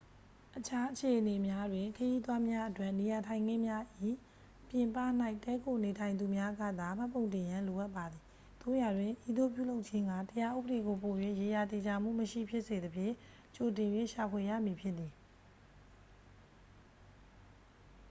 အခြားအခြေအနေများတွင် ခရီးသွားများအတွက်နေရာထိုင်ခင်းများ၏ ပြင်ပ၌ တည်းခိုနေထိုင်သူများကသာ မှတ်ပုံတင်ရန် လိုအပ်ပါသည် သို့ရာတွင် ဤသို့ပြုလုပ်ခြင်းက တရားဥပဒေကို ပို၍ ရေရာသေချာမှုမရှိဖြစ်စေသဖြင့် ကြိုတင်၍ ရှာဖွေရမည်ဖြစ်သည်